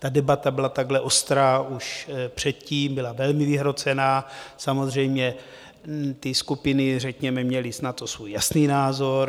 Ta debata byla takhle ostrá už předtím, byla velmi vyhrocená, samozřejmě ty skupiny řekněme měly na to svůj jasný názor.